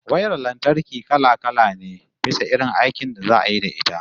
Wayar lantarki kala-kala ne, bisa irin aikin da za'a yi da ita